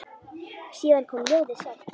Síðan kom ljóðið sjálft: